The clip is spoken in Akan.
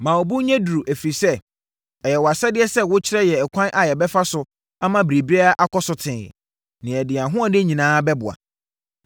Ma wo bo nyɛ duru, ɛfiri sɛ, ɛyɛ wʼasɛdeɛ sɛ wokyerɛ yɛn ɛkwan a yɛbɛfa so ama biribiara akɔ so tee, na yɛde yɛn ahoɔden nyinaa bɛboa.”